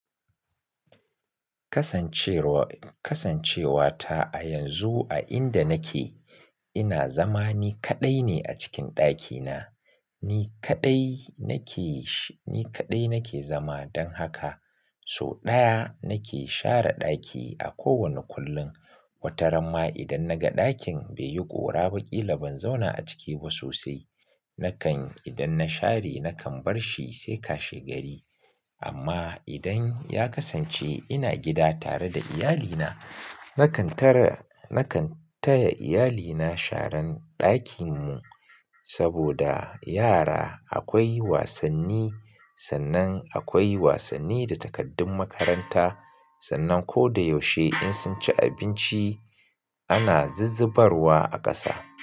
Kasancewa, kasancewa ta a yanzu a inda nake, ina zama ni kaɗai ne a cikin ɗakina. Ni kaɗai nake shi, ni kaɗai nake zama. Dan haka, so ɗaya, nake share ɗaki a kowane kullum. Wataramma idan naga ɗakin, bai yi ƙora ba ƙila ban zauna a ciki ba sosai. Nakan, idan na share nakan barshi sai kashegari. Amma idan ya kasance ina gida tare da iyalina, nakan tara, nakan taya iyalina sharan ɗakinmu. Saboda yara akwai wasanni, sannan akwai wasanni da takaddun makaranta, sannan ko da yaushe in sun ci abinci, ana zizzibarwa a ƙasa.